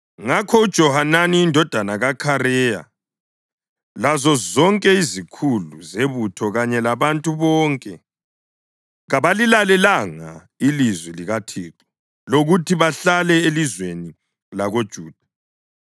Ngakho uJohanani indodana kaKhareya lazozonke izikhulu zebutho kanye labantu bonke kabalilalelanga ilizwi likaThixo lokuthi bahlale elizweni lakoJuda.